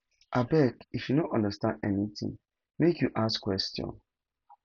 abeg if you no understand anytin make you ask question